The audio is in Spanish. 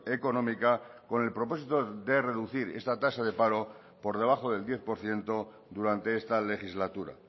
económica con el propósito de reducir esta tasa de paro por debajo del diez por ciento durante esta legislatura